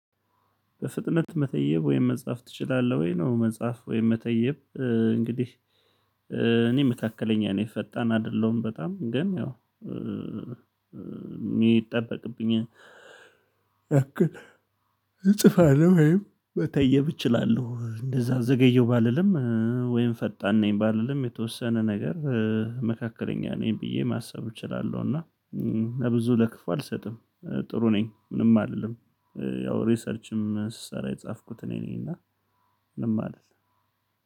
በፍጥነት መተየብ ወይም መጻፍ ትችላለህ? ወይ ነው መጻፍ ወይም መተየብ? እንግዲህ እኔ መካከለኛ ነኝ ፈጣን አይደለሁም። በጣም ግን ያው የሚጠበቅብኝ እጽፋለሁ ወይም በተየብ እችላለሁ። እንደዛ ዘገየው ባልልም ወይም ፈጣን ነኝ ባልልም የተወሰነ ነገር መካከለኛ ነኝ ብዬ ማሰብ እችላለሁ። እና ለብዙ ለክፉ አልሰጥም ጥሩ ነኝ ምንም አይደለም። ያው ሪሰርችም ስሰራ የጻፍኩት እኔ ነኝ። እና ምንም አይደለም።